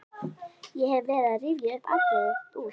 Ég hef verið að rifja upp atriði úr